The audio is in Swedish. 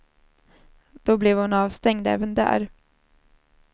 Då blev hon avstängd även där.